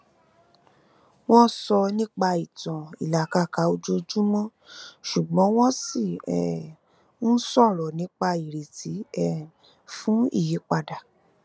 wọn sọ nipa ìtàn ilakaka ojoojúmọ ṣùgbọn wọn ṣi um ń sọrọ nipa ireti um fun ìyípadà